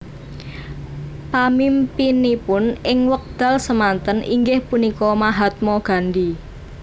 Pamimpinipun ing wekdal semanten inggih punika Mahatma Gandhi